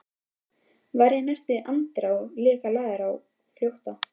Var í næstu andrá líka lagður á flótta.